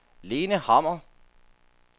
Lene Hammer